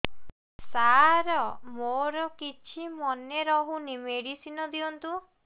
ସାର ମୋର କିଛି ମନେ ରହୁନି ମେଡିସିନ ଦିଅନ୍ତୁ